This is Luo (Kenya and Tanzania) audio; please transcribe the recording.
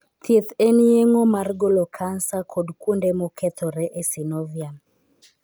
Thieth en yeng'o mar golo kansa kod kuonde mokethore e synovium.